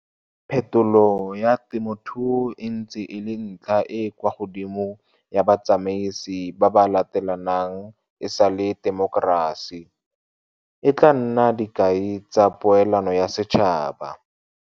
Phetolo ya temothuo e ntse e le ntlha e e kwa godimo ya batsamaisi ba ba latelanang e sale temokerasi. E tla nna dikai tsa poelano ya setšhaba.